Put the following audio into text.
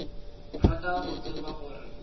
rata go tseba gore o